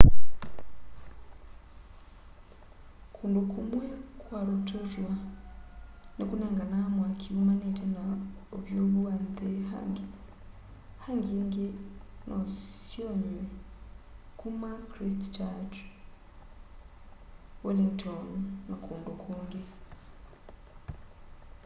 kũndũ kũmwe kwa rotorũa nĩkũnenganaa mwakĩ ũmanĩte na ũvyũvũ wa nthĩ hangĩ hangĩ ĩngĩ nosyonyw'e kũma christchurch wellington na kũndũ kũng'ĩ